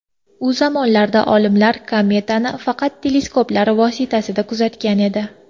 U zamonlarda olimlar kometani faqat teleskoplar vositasida kuzatgan edi.